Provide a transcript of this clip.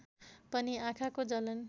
पनि आँखाको जलन